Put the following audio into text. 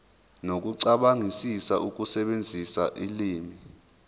nokucabangisisa ukusebenzisa ulimi